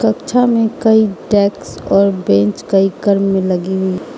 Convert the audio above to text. कक्षा में कई डेक्स और बेंच कई क्रम में लगी हुई --